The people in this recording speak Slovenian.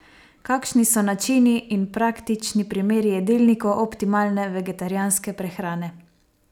Kakšni so načini in praktični primeri jedilnikov optimalne vegetarijanske prehrane?